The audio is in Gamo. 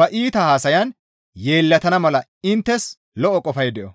ba iita haasayan yeellatana mala inttes lo7o qofay de7o.